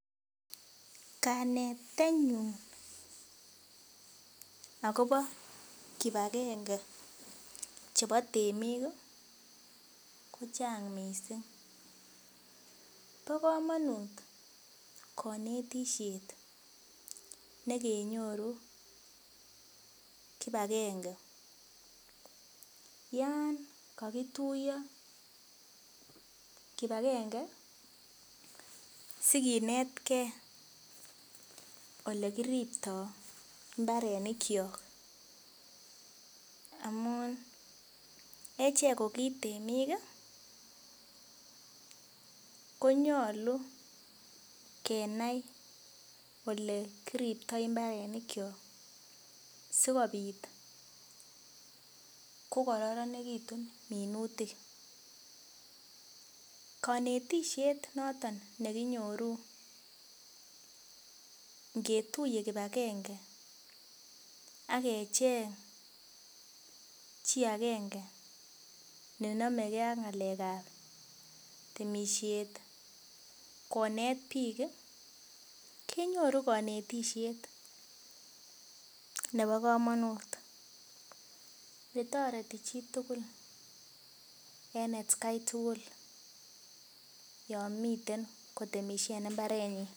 Kanetenyun akobo kibakenge chebo temik ko chang mising bo komonut kanetishet nekenyoru kibakenge yan kakituyo kibakenge sikinetkei olekiriptoi mbarenikcho amun achek ko kiit temik konyolu kenai ole kiriptoi mbarenik cho sikobit kokoronekitu minutik konetishet noton nekinyoru ngetuye kibakenge akecheng chi akenge ne nomekee ak ng'alek ap temisiet konet biik kenyoru konetishet nebo komonut netoreti chitugul en atkai tugul yo miten kotemishe en mbaretnyi.